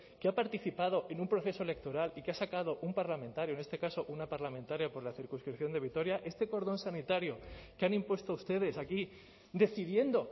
que ha participado en un proceso electoral y que ha sacado un parlamentario en este caso una parlamentaria por la circunscripción de vitoria este cordón sanitario que han impuesto ustedes aquí decidiendo